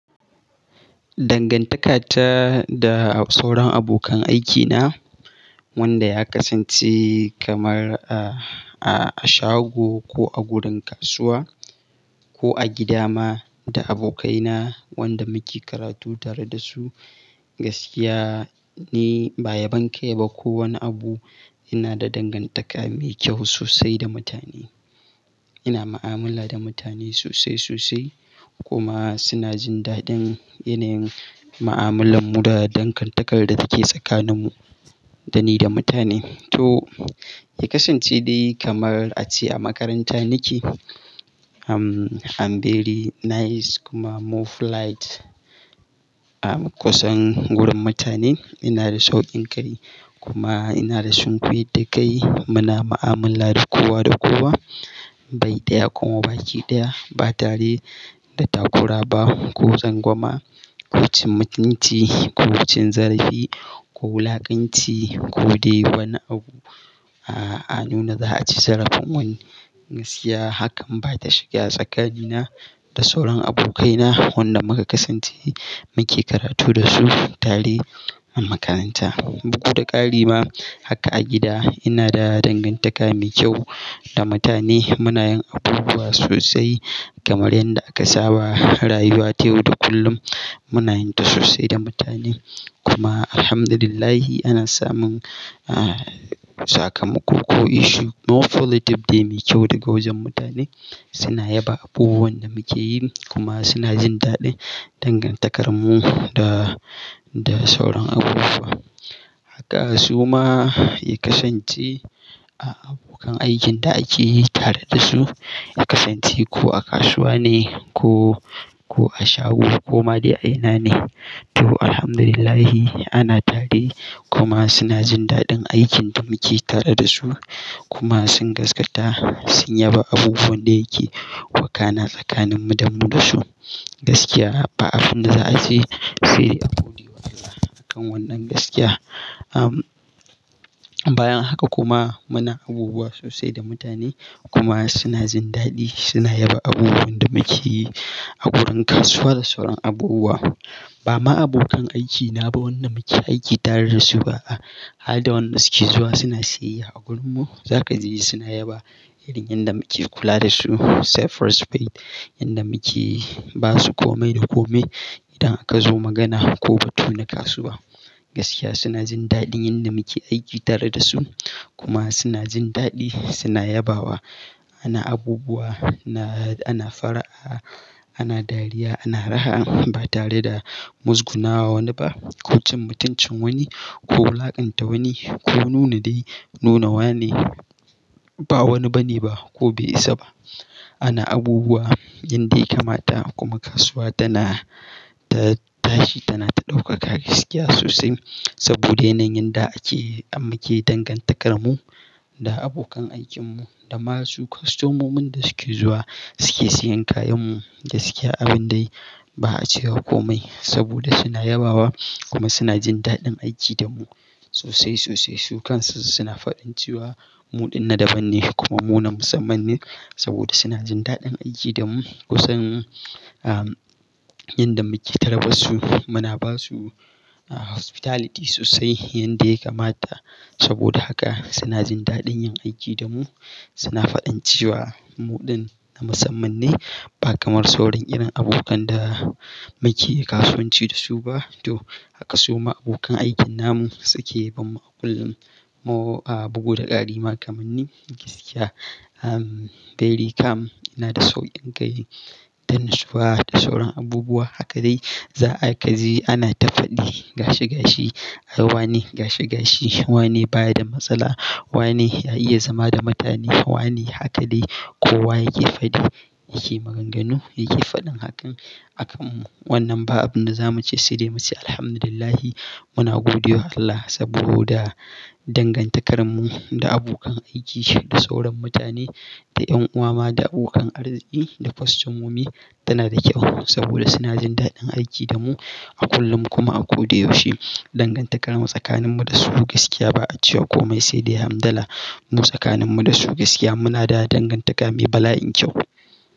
Dangantaka ta da sauran abokan aikina wanda ya kasance kamar a shago ko a gurin kasuwa ko a gida ma da abokaina wanda muke karatu tare da su. Gaskiya ni ba yabon kai ba ko wani abu. Ina da dangantaka mai kyau sosai da mutane. Ina mu'amala da mutane sosai sosai kuma suna jin daɗin yanayin mu'amalar mu da dangantakar da take tsakaninmu da ni da mutane. To ya kasance dai kamar a ce a makaranta nake. Am, am very nice kuma more polite. A kusan gurin mutane ina da saukin kai kuma ina da sunkuyar da kai. Muna mu'amala da kowa da kowa. Bai ɗaya kuma ba ki ɗaya ba tare da takura ba ko tsangwama ko cin mutunci ko cin zarafi ko wulakanci ko dai wani abu. A, a nuna za a ci zarafin wani. Gaskiya hakan ba ta shiga tsakani na da sauran abokaina wanda muka kasance muke karatu dasu tare a makaranta. Bugu da ƙari ma haka a gida ina da dangantaka mai kyau da mutane. Muna yin abubuwa sosai kamar yadda aka saba. Rayuwa ta yau da kullum muna yin ta sosai da mutane. Kuma Alhamdulillah ana samun a, sakamako ko issue more positive dai mai kyau daga wajen mutane. Suna yaba abubuwan da muke yi kuma suna jin daɗin dangantakarmu da, da sauran abubuwa. Haka su ma ya kasance a abokan aikin da ake yi tare da su. Ya kasance ko a kasuwa ne ko, ko a shago ko ma dai a ina ne. To Alhamdulillah ana tare kuma suna jin daɗin aikin da muke tare da su kuma sun gaskata sun yaba abubuwan da yake wakana tsakanin mu da mu da su. Gaskiya ba abin da za a ce sai dai godewa Allah akan wannan gaskiya. Am, bayan haka kuma muna abubuwa sosai da mutane kuma suna jin daɗi. Suna yaba abubuwan da muke yi a gurin kasuwa da sauran abubuwa. Ba ma abokan aikina ba wanda muke aiki tare da su ba a, har da wanda suke zuwa suna siyayya a gurinmu za ka ji suna yaba irin yadda muke kula da su. Say first paid yanda muke ba su komai da komai idan aka zo magana ko batu na kasuwa. Gaskiya suna jin daɗin yanda muke aiki tare da su kuma suna jin daɗi. Suna yabawa. Ana abubuwa, ana fara'a, ana dariya, ana raha ba tare da muzgunawa wani ba ko cin mutuncin wani ko wulaƙanta wani ko nuna dai nunawa ne ba wani bane ba ko bai isa ba. Ana abubuwa yanda ya kamata kuma kasuwa tana, ta tashi tana ta ɗaukaka gaskiya sosai saboda yanayin da ake, muke dangantakar mu da abokan aikinmu da masu, kwastomomin da suke zuwa suke siyan kayanmu. Gaskiya abin dai ba a cewa komai saboda suna yabawa kuma suna jin daɗin aiki da mu sosai sosai. Su kansu suna faɗin cewa muɗin na daban ne kuma mu na musamman ne saboda suna jin daɗin aiki da mu kusan am, yanda muke tarbarsu muna ba su a, hospitality sosai yanda ya kamata. Saboda haka suna jin daɗin yin aiki da mu. Suna faɗin cewa muɗin na musamman ne ba kamar sauran irin abokan da muke kasuwanci da su ba. To haka su ma abokan aikin namu suke. Ban ma a kullum more a bugu da ƙari ma kaman ni. Gaskiya am, very calm. Ina da saukin kai da nutsuwa da sauran abubuwa. Haka dai za a ka ji ana ta faɗi gashi gashi. Awane gashi gashi. Wane baya da matsala. Wane ya iya zama da mutane. Wane haka dai kowa yake faɗi yake maganganu yake faɗin hakan. Akan wannan ba abin da za mu ce sai dai mu ce Alhamdulillah muna godewa Allah saboda dangantakarmu da abokan aiki, da sauran mutane, da ƴan'uwa ma, da abokan arziki, da kwastomomi tana da kyau saboda suna jin daɗin aiki da mu a kullum kuma a ko da yaushe. Dangantakarmu tsakaninmu da su gaskiya ba a cewa komai sai dai Hamdala. Mu tsakaninmu da su gaskiya muna da dangantaka mai bala'in kyau.